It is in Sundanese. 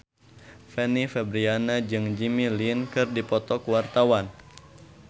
Fanny Fabriana jeung Jimmy Lin keur dipoto ku wartawan